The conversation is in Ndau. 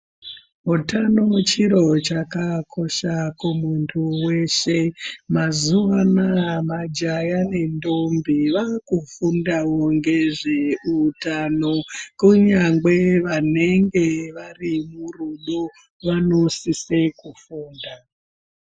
Hutano muchiro chakakosha kumuntu wese . Mazuwa anaaya majaya nendombi vaakufundawo ngezve utano kunyangwe vanonge vari murudo vanosise kufunda.